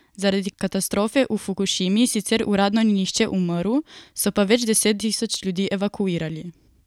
Zaradi katastrofe v Fukušimi sicer uradno ni nihče umrl, so pa več deset tisoč ljudi evakuirali.